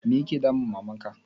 Me ya ke damun Maman ka?